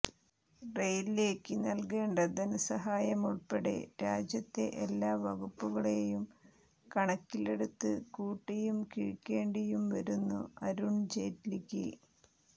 റെയില്വേക്ക് നല്കേണ്ട ധനസഹായമുള്പ്പെടെ രാജ്യത്തെ എല്ലാ വകുപ്പുകളെയും കണക്കിലെടുത്ത് കൂട്ടിയും കിഴിക്കേണ്ടിയും വരുന്നു അരുണ് ജെയ്റ്റ്ലിക്ക്